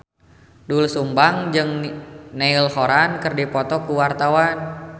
Doel Sumbang jeung Niall Horran keur dipoto ku wartawan